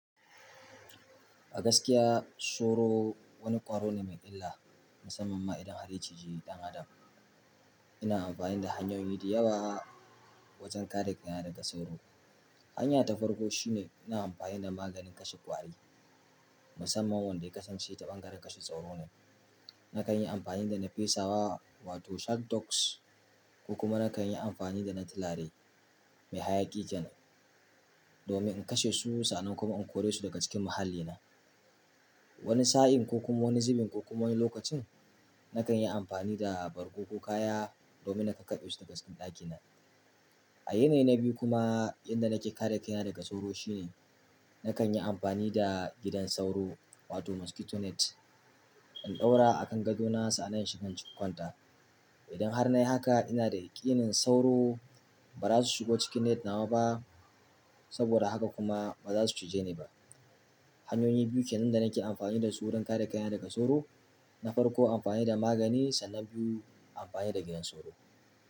A gaskiya sauro wani ƙwaro ne mai illa, musamman ma idan har ya cije ɗan adam. Ina amfani da hanyoyi da yawa wajen kare kaina daga sauro. Hanya ta farko shine ina amfani da maganin kashe ƙwari, musamman wanda ya kasance taɓangaren kashe sauro ne. Nakan yi amfani da na fesawa wato sheltocks ko kuma nakan yi amfani da na tilare mai hayaƙi jan, domin in kashe su sannan kuma in kore su daga cikin muhallina. Wani sa'in ko kuma wani zubin ko kuma wani lokacin, nakan yi amfani da bargo ko kaya domin na kaɓe su daga cikin ɗakina. A yanayi na biyu kuma yanda nake kare kaina daga sauro shine nakan yi amfani da gidan sauro wato mosquito net, in ɗaura a kan gadona sannan in shiga cikin kwanta. Idan har na yi haka ina da yaƙinin sauro ba za su shigo cikin net nawa ba saboda haka kuma ba za su cije ni ba. Hanyoyi biyu kenan da nake amfani da su wurin kare kaina daga sauro, na farko amfani da magani sannan na biyu amfani da gidan sauro.